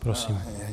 Prosím.